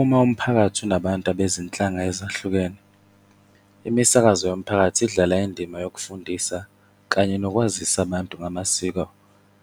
Uma umphakathi unabantu abezinhlanga ezahlukene, imisakazo yomphakathi idlala indima yokufundisa kanye nokwazisa abantu ngamasiko